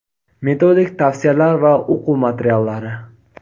metodik tavsiyalar va o‘quv materiallari:.